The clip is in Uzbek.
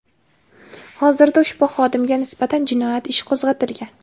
Hozirda ushbu xodimga nisbatan jinoyat ishi qo‘zg‘atilgan.